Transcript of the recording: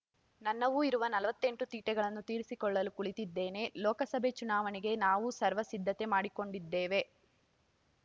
ನನ್ನವೂ ಇರುವ ನಲವತ್ತೆಂಟು ತೀಟೆಗಳನ್ನು ತೀರಿಸಿಕೊಳ್ಳಲು ಕುಳಿತಿದ್ದೇನೆ ಲೋಕಸಭೆ ಚುನಾವಣೆಗೆ ನಾವೂ ಸರ್ವ ಸಿದ್ಧತೆ ಮಾಡಿಕೊಂಡೇ ಇದ್ದೇವೆ